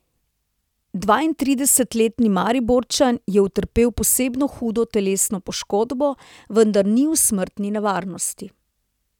Dvaintridesetletni Mariborčan je utrpel posebno hudo telesno poškodbo, vendar ni v smrtni nevarnosti.